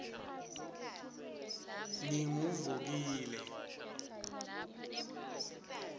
nginguvukile